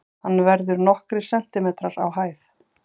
hann verður nokkrir sentimetrar á hæð